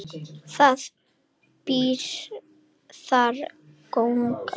Það býr þar kóngur.